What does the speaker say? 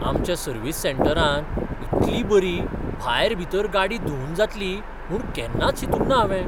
आमच्या सर्विस सँटरांत इतली बरी भायर भितर गाडी धुंवन जातली म्हूण केन्नाच चिंतूंक ना हांवें.